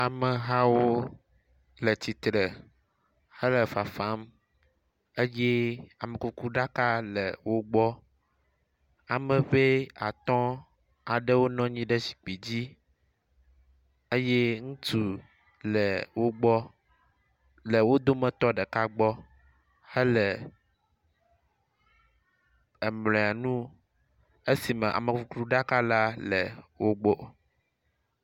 Ame hawo le tsitre hele fafam eye amekukuɖaka le wo gbɔ. Ame ŋɛ atɔ̃ aɖewo nɔ anyi ɖe zikpui dzi eye ŋutsu le wo gbɔ le wo dometɔ ɖeka gbɔ helee, amle nu esi amekukuɖaka le wo gbɔ.